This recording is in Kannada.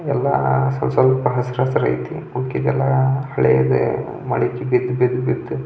ಎಲ್ಲ ಸ್ವಸ್ವಸ್ವಲ್ಪ ಹಸಿರ ಹಸಿರ ಯೇತಿ ಮಿಕ್ಕಿದೆಲ್ಲ ಹಳೇದು ಮಳೆ ಬಿದ್ದು ಬಿದ್ದು ಬಿದ್ದು --